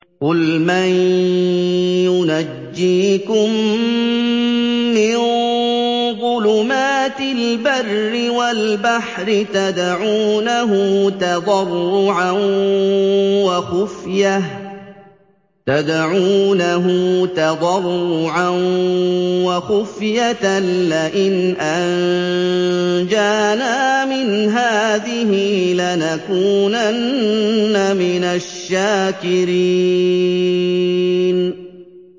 قُلْ مَن يُنَجِّيكُم مِّن ظُلُمَاتِ الْبَرِّ وَالْبَحْرِ تَدْعُونَهُ تَضَرُّعًا وَخُفْيَةً لَّئِنْ أَنجَانَا مِنْ هَٰذِهِ لَنَكُونَنَّ مِنَ الشَّاكِرِينَ